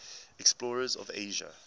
explorers of asia